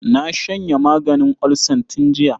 Na shanye maganin olsan tun jiya.